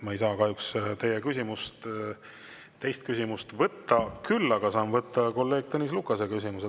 Ma ei saa kahjuks teie teist küsimust võtta, küll aga saan võtta kolleeg Tõnis Lukase küsimuse.